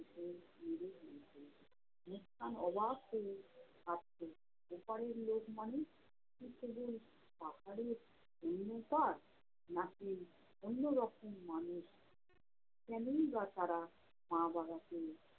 মুসকান অবাক হয়ে ভাবতো, ওপারের লোক মানে কি শুধু পাহাড়ের অন্য পাড় না-কি অন্য রকম মানুষ! কেনোই বা তারা মা-বাবাকে